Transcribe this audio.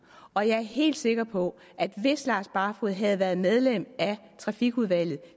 og jeg er helt sikker på at hvis herre lars barfoed havde været medlem af trafikudvalget